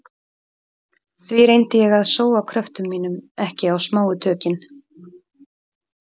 Því reyndi ég að sóa kröftum mínum ekki á smáu tökin.